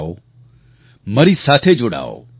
આવો મારી સાથે જોડાઓ